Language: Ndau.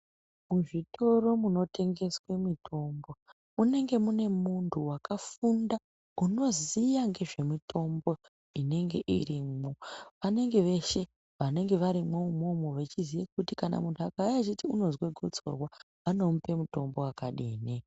Muzvitoro zvinotengese mitombo munenge mune muntu akafunda, unoziva ngezvemutombo inenge irimo, vanenge veshe vanenge varimo imomo vachiziva kuti kana muntu akauya achiti anonzwa kudzurwa vanopa mutombo wakadii.